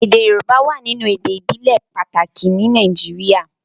èdè yorùbá wá nínú èdè ibile pàtàkì ní Nàìjíríà.